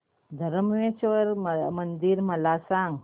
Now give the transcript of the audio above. धरमेश्वर मंदिर मला सांग